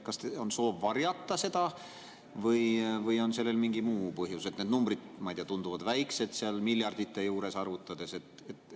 Kas on soov varjata või on sellel mingi muu põhjus, et need numbrid, ma ei tea, tunduvad väiksed seal miljardite kõrval?